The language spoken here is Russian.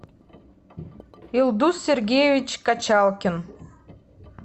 элдус сергеевич качалкин